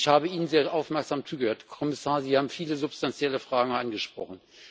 Und ich habe Ihnen sehr aufmerksam zugehört, Herr Kommissar. Sie haben viele substantielle Fragen angesprochen.